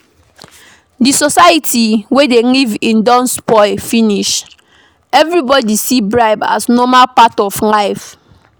Di society wey we dey live in don spoil finish, everybody see bribe as normal part of life